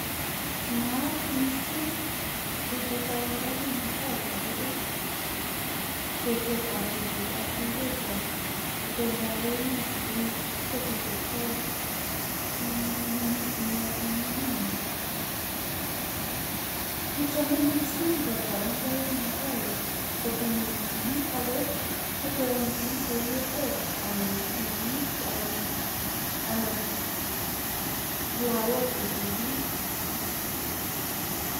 naat missing professor wangari mathai eng ripseet ap ketik ,naat mising inendet proffesor wangari mathai eng kolseet ap ketitk